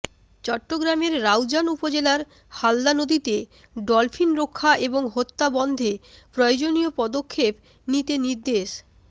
চট্টগ্রামের রাউজান উপজেলার হালদা নদীতে ডলফিন রক্ষা এবং হত্যা বন্ধে প্রয়োজনীয় পদক্ষেপ নিতে নির্দেশ